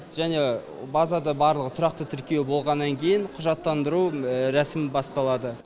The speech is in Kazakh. және базада барлығы тұрақты тіркеу болғаннан кейін құжаттандыру рәсімі басталады